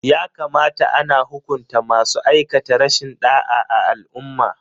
Ya kamata ana hukunta masu aikata rashin da'a a al'umma.